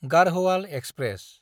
गारहोआल express